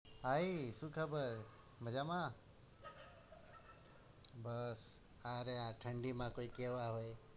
ભાઈ શું ખબર મજામાં બસ આ રહ્યા ઠંડીમાં કોઈ કેવા હોય?